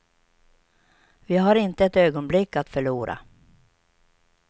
Vi har inte ett ögonblick att förlora.